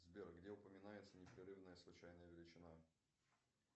сбер где упоминается непрерывная случайная величина